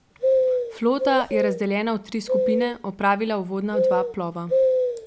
Flota je, razdeljena v tri skupine, opravila uvodna dva plova.